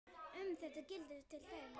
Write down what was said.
Um þetta gildir til dæmis